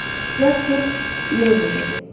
Jaspar Mable dedi.